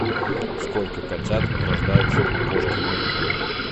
сколько котят рождается у кошки мэйкун